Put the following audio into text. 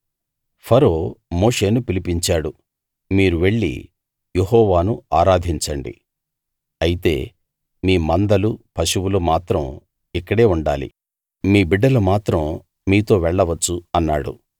ఫరో మోషేను పిలిపించాడు మీరు వెళ్లి యెహోవాను ఆరాధించండి అయితే మీ మందలూ పశువులూ మాత్రం ఇక్కడే ఉండాలి మీ బిడ్డలు మాత్రం మీతో వెళ్ళవచ్చు అన్నాడు